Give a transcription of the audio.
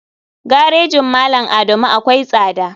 Garejin malam adamu akwai tsada.